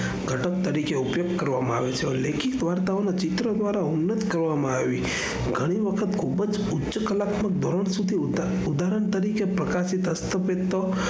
ગતક તરીકે ઉપયોગ કરવામાં આવે છે. વાર્તાઓના ચિત્ર દ્વારા ઉલ્લં કરવામાં આવે છે. ગણી વખત ખુબજ ઉચ્ચ કલાકારો સુધી કરવામાં આવે છે ઉદઘારણ તરીકે પ્રકાશિત હસતો પોષતો,